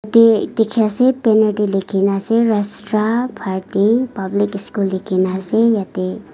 dikhi ase banner tey likhina ase rashtra bharti public school likhina ase yetey.